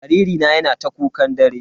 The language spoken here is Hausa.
Jariri na yana ta kukan dare.